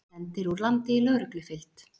Sendir úr landi í lögreglufylgd